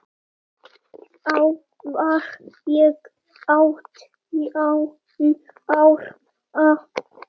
Þá var ég átján ára.